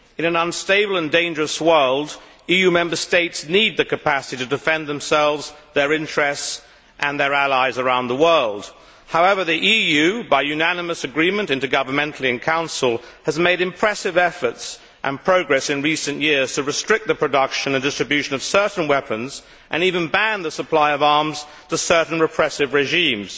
In an unstable and dangerous world, EU Member States need the capacity to defend themselves, their interests and their allies around the world. However, the EU, by unanimous agreement intergovernmentally in Council, has made impressive efforts and progress in recent years to restrict the production and distribution of certain weapons and even ban the supply of arms to certain repressive regimes.